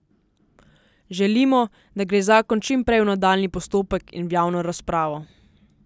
Želimo, da gre zakon čim prej v nadaljnji postopek in v javno razpravo.